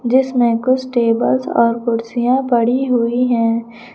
जिसमे कुछ टेबल्स और कुर्सियां पड़ी हुई है।